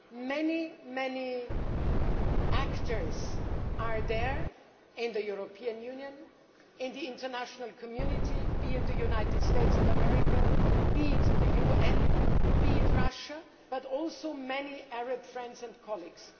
Many actors are there in the European Union, in the international community be it the United States of America, the UN or Russia but there are also many Arab friends and colleagues.